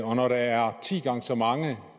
og når der er ti gange så mange